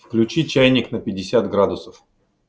включи чайник на пятьдесят градусов